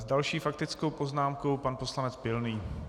S další faktickou poznámkou pan poslanec Pilný.